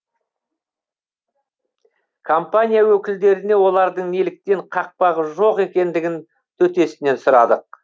компания өкілдеріне олардың неліктен қақпағы жоқ екендігін төтесінен сұрадық